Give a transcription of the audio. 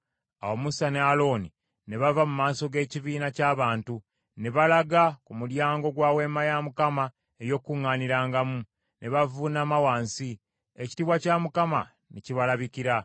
Awo Musa ne Alooni ne bava mu maaso g’ekibiina ky’abantu ne balaga ku mulyango gwa Weema ey’Okukuŋŋaanirangamu, ne bavuunama wansi. Ekitiibwa kya Mukama Katonda ne kibalabikira.